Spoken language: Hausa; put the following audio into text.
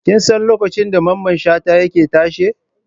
Kin san lokacin da Mamman Shata yake tashe?